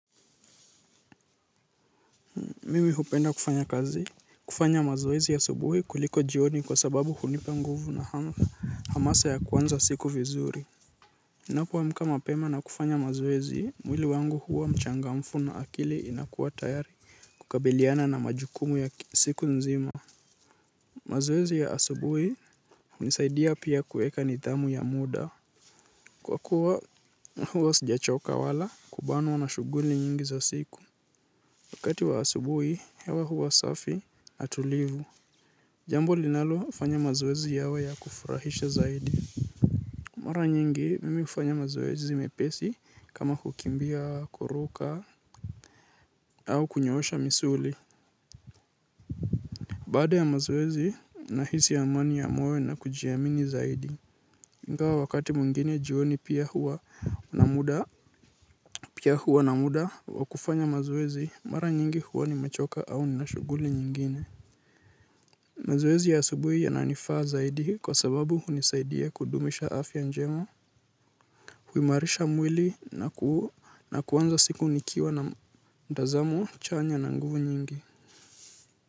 Mimi hupenda kufanya kazi. Kufanya mazeezi asubuhi kuliko jioni kwa sababu hunipa nguvu na hamasa ya kwanza siku vizuri. Ninapoamka mapema na kufanya mazoezi, mwili wangu huwa mchangamfu na akili inakuwa tayari. Kukabiliana na majukumu ya siku nzima. Mazeezi ya asubuhi hunisaidia pia kuweka nidhamu ya muda. Kwakuwa huwa sijachoka wala, kubanwa na shughuli nyingi za siku. Wakati wa asubuhi, hewa huwa safi, na tulivu. Jambo linalofanya mazoezi yawe ya kufurahisha zaidi. Mara nyingi mimi hufanya mazoezi mepesi kama kukimbia kuruka au kunyoosha misuli. Baada ya mazoezi nahisi amani ya moyo na kujiamini zaidi. Ingawa wakati mwingine jioni pia huwa na muda. Pia huwa na muda wa kufanya mazoezi mara nyingi huwa nimechoka au nina shughuli nyingine. Mazoezi ya asubuhu yananifanya zaidi kwa sababu hunisaidia kudumisha afya njema. Huimarisha mwili na kuanza siku nikiwa mtazamo chanya na nguvu nyingi.